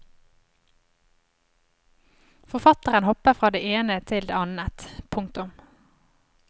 Forfatteren hopper fra det ene til det annet. punktum